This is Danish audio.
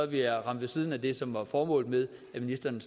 vi ramt ved siden af det som er formålet med at ministeren